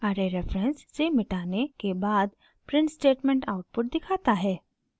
array reference से मिटाने के बाद प्रिंट स्टेटमेंट आउटपुट दिखाता है